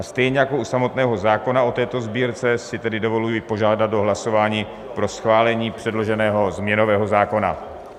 A stejně jako u samotného zákona, o této sbírce si tedy dovoluji požádat o hlasování pro schválení předloženého změnového zákona.